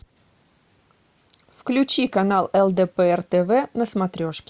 включи канал лдпр тв на смотрешке